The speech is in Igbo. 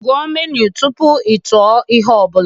Gụọ menu tupu ị tụọ ihe ọ bụla